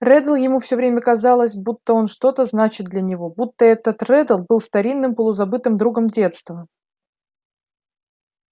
реддл ему все время казалось будто оно что-то значит для него будто этот реддл был старинным полузабытым другом детства